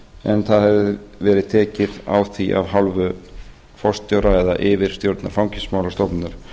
en það hefur verið tekið á því af hálfu forstjóra eða yfirstjórnar fangelsismálastofnunar